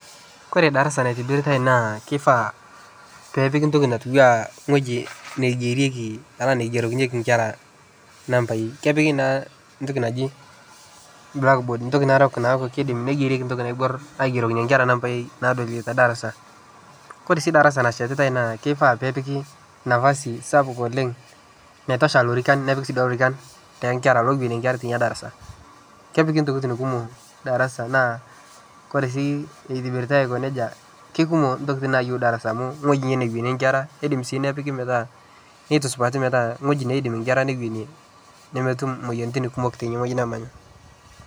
Kore darasa naitibiritae naa kifaa peepiki ntoki natiua ngueji neigerieki neigerokinyeki inkera nambaii kepiki naa ntoki narok naaji blackboard neigerieki ntoki naiborr aigerokinye nkera nambaii naadolie te darasa, kore sii darasa nashetitae naa kifaa peepiki nafasi sapuk oleng naitosha lorikan nepiki lorikan loouonie nkera tina darasa, kepiki ntokitin kumok darasa naa kore sii itibiritae aiko nejia ikumok ntokitin nayieu darasa, amu ngueji newenie nkera sii nepiki metaa ketii supati ngueji nedim inkera newenie nemetum moyiaritin kumok tine wueji nemanya.